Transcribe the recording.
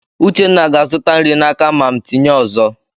Uchenna ga-azụta nri n'aka mam tinye ọzọ.